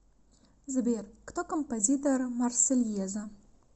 сбер кто композитор марсельеза